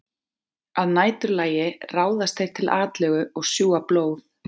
Að næturlagi ráðast þeir til atlögu og sjúga blóð.